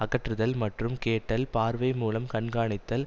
அகற்றுதல் மற்றும் கேட்டல் பார்வை மூலம் கண்காணித்தல்